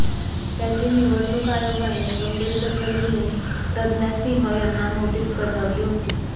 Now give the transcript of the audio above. त्याची निवडणूक आयोगाने गंभीर दखल घेऊन प्रज्ञासिंह यांना नोटिस बजावली होती